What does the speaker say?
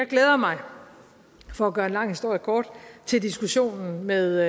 glæder mig for at gøre en lang historie kort til diskussionen med